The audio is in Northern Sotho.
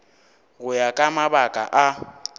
go ya ka mabaka a